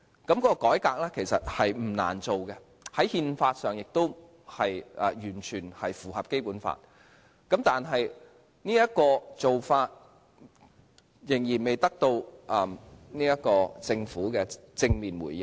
這個改革其實是不難做的，在憲法上亦完全符合《基本法》，可是仍然未得到政府正面回應。